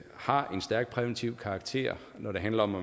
har en stærk præventiv karakter når det handler om at